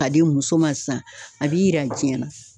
Ka di muso ma sisan , a b'i yira diɲɛ na.